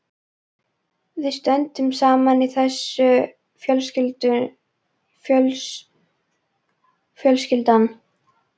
Við stöndum saman í þessu fjölskyldan.